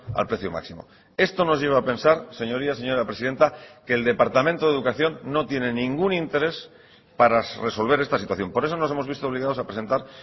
al precio máximo esto nos lleva a pensar señorías señora presidenta que el departamento de educación no tiene ningún interés para resolver esta situación por eso nos hemos visto obligados a presentar